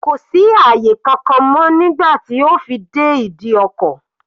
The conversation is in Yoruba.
Kò sí àyè kankan mọ́ nígbà tí ó fi dé ìdí ọkọ̀.